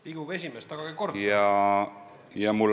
Riigikogu esimees, tagage kord!